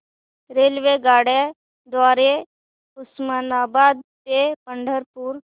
रेल्वेगाड्यां द्वारे उस्मानाबाद ते पंढरपूर